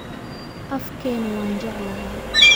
afkeena waan jeclahay